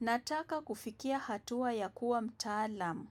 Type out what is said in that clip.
Nataka kufikika hatua ya kuwa mtaalam,